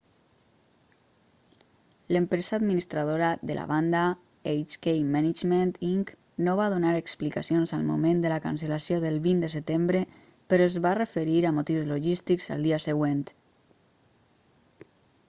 l'empresa administradora de la banda hk management inc no va donar explicacions al moment de la cancel·lació del 20 de setembre però es va referir a motius logístics el dia següent